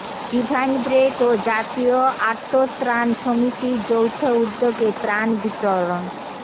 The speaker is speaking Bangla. ডিভাইন ব্রেথ ও জাতীয় আর্তত্রাণ সমিতির যৌথ উদ্যোগে ত্রাণ বিতরণ